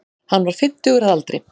Hann var fimmtugur að aldri